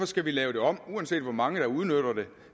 skal vi lave det om uanset hvor mange der udnytter det